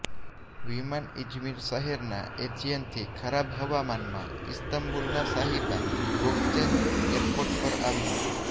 વિમાન ઇજમિર શહેરના એજિયનથી ખરાબ હવામાનમાં ઇસ્તંબુલના સાહિબા ગોકચેન એરપોર્ટ પર આવ્યુ